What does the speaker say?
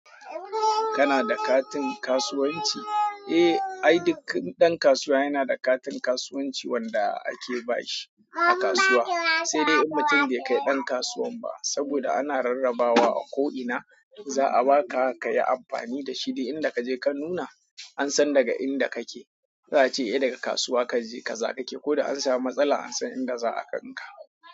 Kana da katin kasuwanci? Eh ai duk ɗan kasuwa yana da katin kasuwanci wanda ake ba shi a kasuwa, sai dai in mutum bai kai ɗan kasuwan ba saboda a na rarrabawa a ko'ina za a baka ka yi amfani da shi, duk inda kaje ka nuna an san daga inda kake. Za a ce idan kasuwa kaje ka za ka ke ko da an samu matsala an san inda za a gan ka.